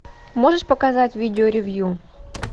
можешь показать видео ревью